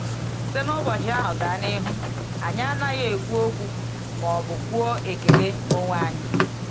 Site n’ụbọchị ahụ gaa n’ihu, anyị anaghị ekwu um okwu ma ọ bụ kwụọ ekele um onwe anyị.